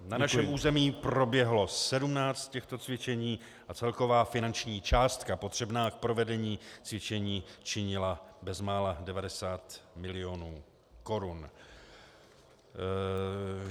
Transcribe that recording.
Na našem území proběhlo 17 těchto cvičení a celková finanční částka potřebná k provedení cvičení činila bezmála 90 milionů korun.